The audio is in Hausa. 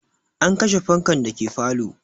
An kashe fankan dake falo